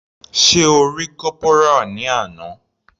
Sé O rí Corporal ní àná.